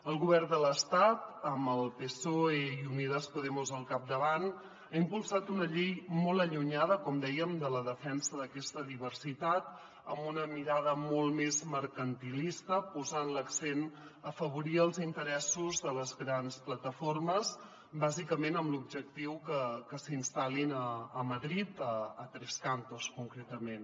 el govern de l’estat amb el psoe i unidas podemos al capdavant ha impul·sat una llei molt allunyada com dèiem de la defensa d’aquesta diversitat amb una mirada molt més mercantilista posant l’accent a afavorir els interessos de les grans plataformes bàsicament amb l’objectiu que s’instal·lin a madrid a tres cantos concretament